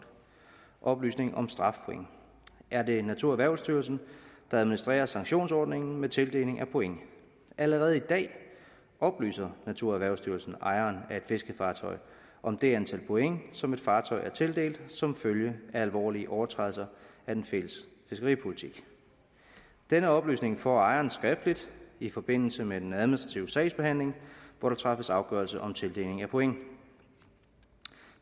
oplysning om strafpoint er det naturerhvervsstyrelsen der administrerer sanktionsordningen med tildeling af point allerede i dag oplyser naturerhvervsstyrelsen ejeren af et fiskefartøj om det antal point som et fartøj er tildelt som følge af alvorlige overtrædelser af den fælles fiskeripolitik denne oplysning får ejeren skriftligt i forbindelse med den administrative sagsbehandling hvor der træffes afgørelse om tildeling af point